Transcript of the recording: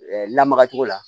Lamara cogo la